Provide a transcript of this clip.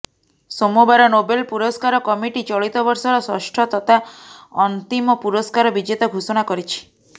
ସୋମବାର ନୋବେଲ ପୁରସ୍କାର କମିଟି ଚଳିତ ବର୍ଷର ଷଷ୍ଠ ତଥା ଅନ୍ତିମ ପୁରସ୍କାର ବିଜେତା ଘୋଷଣା କରିଛି